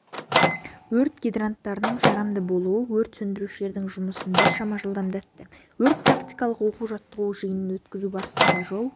өрт гидранттарының жарамды болуы өрт сөндірушілердің жұмысын біршама жылдамдатты өрт-тактикалық оқу-жаттығу жиынын өткізу барысында жол